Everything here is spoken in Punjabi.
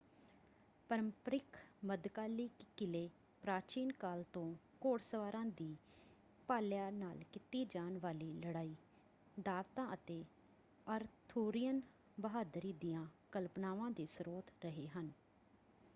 ਪ੍ਰੰਪਰਿਕ ਮੱਧਕਾਲੀ ਕਿਲੇ ਪ੍ਰਾਚੀਨ ਕਾਲ ਤੋਂ ਘੋੜਸਵਾਰਾਂ ਦੀ ਭਾਲਿਆਂ ਨਾਲ ਕੀਤੀ ਜਾਣ ਵਾਲੀ ਲੜਾਈ ਦਾਅਵਤਾਂ ਅਤੇ ਅਰਥੂਰੀਅਨ ਬਹਾਦਰੀ ਦੀਆਂ ਕਲਪਨਾਵਾਂ ਦੇ ਸਰੋਤ ਰਹੇ ਹਨ।